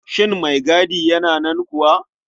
Shin maigadi yana nan kuwa?